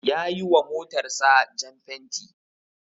Ya yiwa motarsa jan fenti.